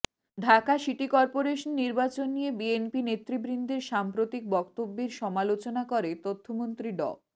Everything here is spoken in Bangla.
ঢাকা সিটি কর্পোরেশন নির্বাচন নিয়ে বিএনপি নেতৃবৃন্দের সাম্প্রতিক বক্তব্যের সমালোচনা করে তথ্যমন্ত্রী ড